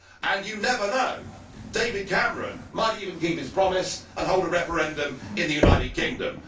And you never know, David Cameron might even keep his promise and hold a referendum in the United Kingdom.